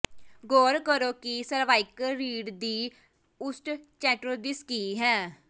ਗੌਰ ਕਰੋ ਕਿ ਸਰਵਾਈਕਲ ਰੀੜ੍ਹ ਦੀ ਓਸਟਚੌਂਡ੍ਰੋਸਿਸ ਕੀ ਹੈ